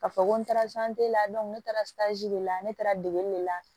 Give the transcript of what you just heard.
Ka fɔ ko n taara la ne taara de la ne taara degeli de la